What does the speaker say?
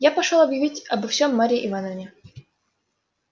я пошёл объявить обо всём марье ивановне